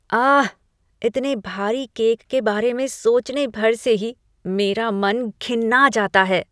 आह, इतने भारी केक के बारे में सोचने भर से ही मेरा मन घिन्ना जाता है।